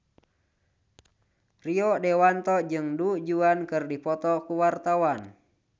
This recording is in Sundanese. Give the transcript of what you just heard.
Rio Dewanto jeung Du Juan keur dipoto ku wartawan